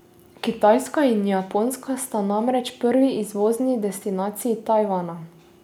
Kitajska in Japonska sta namreč prvi izvozni destinaciji Tajvana.